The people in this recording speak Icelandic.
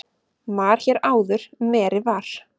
Mar hér áður meri var.